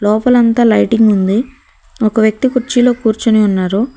లోపల అంతా లైటింగ్ ఉంది ఒక వ్యక్తి కుర్చీలో కూర్చోని ఉన్నారు.